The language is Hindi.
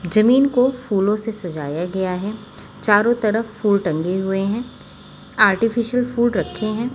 जमीन को फूलों से सजाया गया है चारों तरफ फूल टंगे हुए हैं आर्टिफिशियल फूल रखे हैं।